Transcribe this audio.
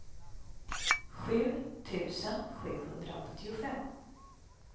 sju tusen sjuhundraåttiofem